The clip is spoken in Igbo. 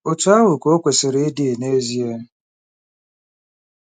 Otú ahụ ka o kwesịrị ịdị, n'ezie.